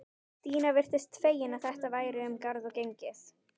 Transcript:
Stína virtist fegin að þetta væri um garð gengið.